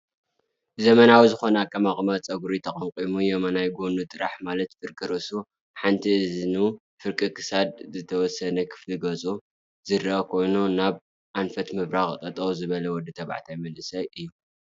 ዘመናዊ ዝኾነ ኣቀማቅማ ፀጉሪ ተቀምቂሙ የማናይ ጉኑ ጥራሕ ማለት ፍርቂ ርእሱ፣ ሓንቲ እዝኑ ፍርቂ ክሳዱ ዝተወሰነ ክፋል ገፁን ዝርአ ኮይኑ ናብ ኣንፈት ምብራቅ ጠጠው ዝበለ ወዲ ተባዕታይ መንእሰይ እዩ፡፡